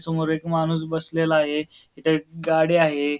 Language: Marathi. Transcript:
समोर एक माणूस बसलेला आहे इथ एक गाडी आहे.